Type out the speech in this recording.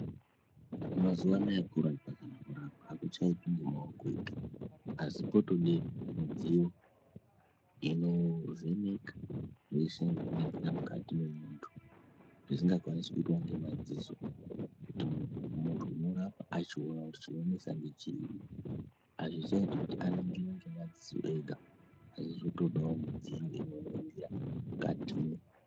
Mazuwa anaaya kurapa kana kurapwa akuchaitwi ngemaoko ega asi kwodode midziyo inovheneka zveshe nekuningira mukati mwemunthu zvisingakwanisi kuitwa ngemadziso emunthu kuti munthu unorapa achiona kuti chinotinetsa ngechiri azvichaiti kuti a ingire ngemadziso ega asi zvitodawo midziyo inoningira mukatimwo.